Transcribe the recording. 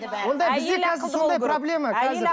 ондай бізде қазір сондай проблема қазір